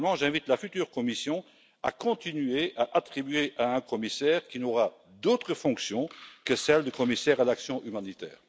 Finalement, j'invite la future Commission à continuer à attribuer ce portefeuille à un commissaire qui n'aura d'autre fonction que celle de commissaire à l'action humanitaire.